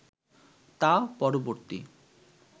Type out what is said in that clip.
তা পরবর্তী